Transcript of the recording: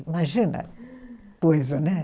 Imagina, coisa, né?